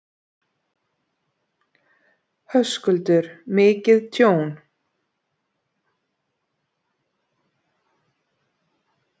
Höskuldur: Mikið tjón?